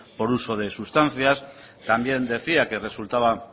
por uso de sustancias también decía que resultaba